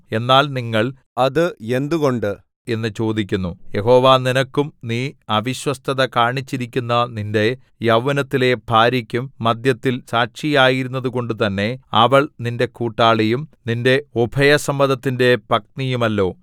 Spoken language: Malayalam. എന്നാൽ നിങ്ങൾ അത് എന്തുകൊണ്ട് എന്നു ചോദിക്കുന്നു യഹോവ നിനക്കും നീ അവിശ്വസ്തത കാണിച്ചിരിക്കുന്ന നിന്റെ യൗവനത്തിലെ ഭാര്യക്കും മദ്ധ്യത്തിൽ സാക്ഷിയായിരുന്നതുകൊണ്ടുതന്നെ അവൾ നിന്റെ കൂട്ടാളിയും നിന്റെ ഉഭയസമ്മതത്തിന്റെ പത്നിയുമല്ലോ